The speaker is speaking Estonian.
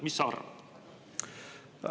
Mis sa arvad?